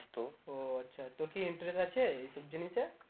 ও আচ্ছা তোর কি interest আছে এই সব জিনিসে?